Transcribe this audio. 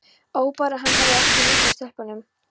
Ó bara hann hefði ekki litið af stelpunum.